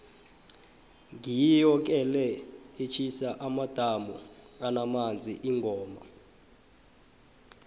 ngiyo ke le etjhisa amadamu anamanzi ingoma